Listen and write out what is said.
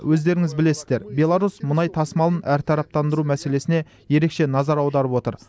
өздеріңіз білесіздер беларусь мұнай тасымалын әртараптандыру мәселесіне ерекше назар аударып отыр